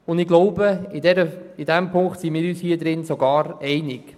Ich glaube, in diesem Punkt sind wir uns alle einig.